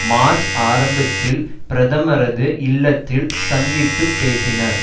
March ஆரம்பத்தில் பிரதமரது இல்லத்தில் சந்தித்து பேசினர்